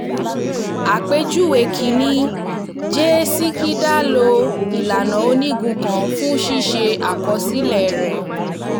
àpèjúwe kìíní: j sikidar lo ìlànà onígun kan fún ṣíṣe àkọsílẹ̀ rẹ̀